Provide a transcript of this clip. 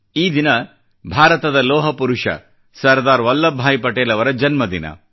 ಈ ದಿನ ಭಾರತದ ಲೋಹ ಪುರುಷ ಸರ್ದಾರ್ ವಲ್ಲಭ್ ಭಾಯಿ ಪಟೇಲ್ ಅವರ ಜನ್ಮದಿನ